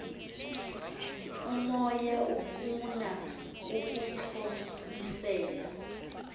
umoya ufuna ukuxhobisela